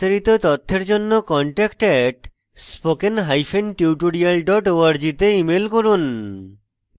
বিস্তারিত তথ্যের জন্য contact @spokentutorial org তে ইমেল করুন